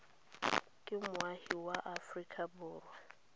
ke moagi wa aforika borwa